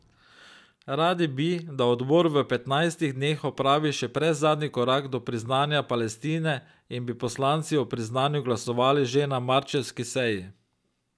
Radi bi, da odbor v petnajstih dneh opravi še predzadnji korak do priznanja Palestine in bi poslanci o priznanju glasovali že na marčevski seji.